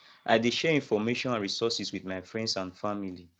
i dey share information and resources with my friends and family